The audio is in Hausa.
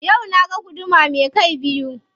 Yau na ga guduma me kai biyu.